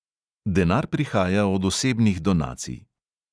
Denar prihaja od osebnih donacij.